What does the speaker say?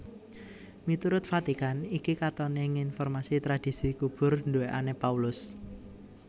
Miturut Vatikan iki katoné ngonfirmasi tradhisi kubur duwèkané Paulus